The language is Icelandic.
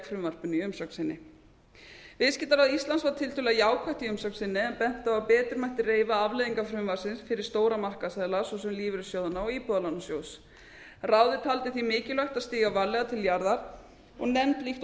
frumvarpinu í umsögn sinni viðskiptaráð íslands var tiltölulega jákvætt í umsögn sinni en benti á að betur mætti reifa afleiðingar frumvarpsins fyrir stóra markaðsaðila svo sem lífeyrissjóðina og íbúðalánasjóð ráðið taldi því mikilvægt að stíga varlega til jarðar og nefnd líkt og lögð